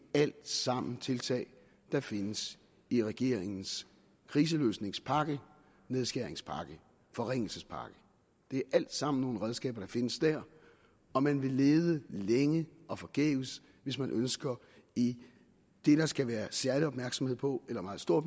det alt sammen tiltag der findes i regeringens kriseløsningspakke nedskæringspakke forringelsespakke det er alt sammen nogle redskaber der findes der og man vil lede længe og forgæves hvis man ønsker i det der skal være særlig opmærksomhed på eller meget stor